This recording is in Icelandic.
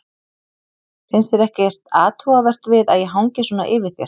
Finnst þér ekkert athugavert við að ég hangi svona yfir þér?